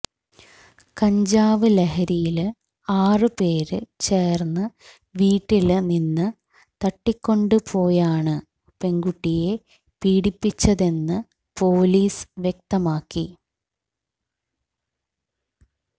കഞ്ചാവ് ലഹരിയില് ആറ് പേര് ചേര്ന്ന് വീട്ടില് നിന്ന് തട്ടികൊണ്ട് പോയാണ് പെണ്കുട്ടിയെ പീഡിപ്പിച്ചതെന്ന് പൊലീസ് വ്യക്തമാക്കി